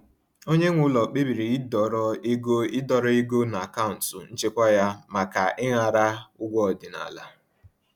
Onye nwe ụlọ kpebiri ịdọrọ ego ịdọrọ ego n’akaụntụ nchekwa ya kama ịṅara ụgwọ ọdịnala.